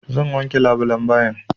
Zan wanke labulan bayin.